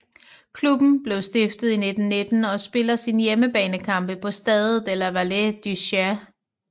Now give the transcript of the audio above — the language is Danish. Klubben blev stiftet i 1919 og spiller sine hjemmekampe på Stade de la Vallée du Cher